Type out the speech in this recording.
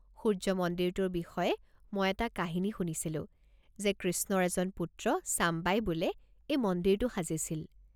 সূৰ্য্য মন্দিৰটোৰ বিষয়ে মই এটা কাহিনী শুনিছিলোঁ যে কৃষ্ণৰ এজন পুত্ৰ ছাম্বাই বোলে এই মন্দিৰটো সাজিছিল।